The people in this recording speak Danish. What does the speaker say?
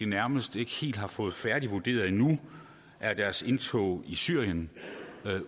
nærmest ikke helt har fået færdigvurderet endnu er deres indtog i syrien